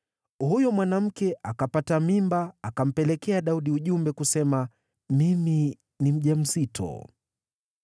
Huyo mwanamke akapata mimba akampelekea Daudi ujumbe, kusema, “Mimi ni mjamzito.”